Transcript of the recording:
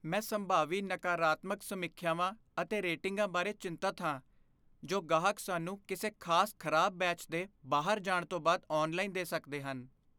ਮੈਂ ਸੰਭਾਵੀ ਨਕਾਰਾਤਮਕ ਸਮੀਖਿਆਵਾਂ ਅਤੇ ਰੇਟਿੰਗਾਂ ਬਾਰੇ ਚਿੰਤਤ ਹਾਂ, ਜੋ ਗਾਹਕ ਸਾਨੂੰ ਕਿਸੇ ਖਾਸ ਖਰਾਬ ਬੈਚ ਦੇ ਬਾਹਰ ਜਾਣ ਤੋਂ ਬਾਅਦ ਔਨਲਾਈਨ ਦੇ ਸਕਦੇ ਹਨ।